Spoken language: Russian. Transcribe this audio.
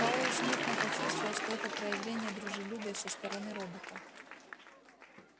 пауэлл смутно почувствовал что это проявление дружелюбия со стороны робота